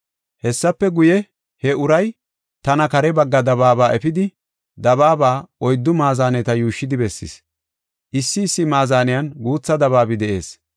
Hessafe guye, he uray tana kare bagga dabaaba efidi, dabaaba oyddu maazaneta yuushshidi bessis. Issi issi maazaniyan guutha dabaabi de7ees.